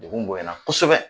Dugu bonyana kosɛbɛ